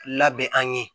Labɛn an ye